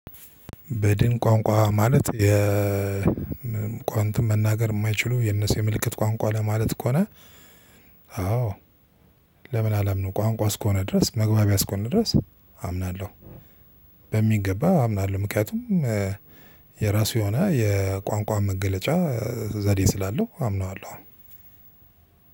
በድን ቋንቋ ማለት የቋንት መናገር የማይችሉ የነሱ የምልክት ቋንቋ ለማለት ከሆነ። አዎ ለምን አላምንም። ቋንቋ እስከሆነ ድረስ መግባቢያ እስከሆነ ድረስ አምናለሁ። በሚገባ አምናለሁ ምክንያቱም የራሱ የሆነ የቋንቋ መገለጫ ዘዴ ስላለው አምነዋለሁ።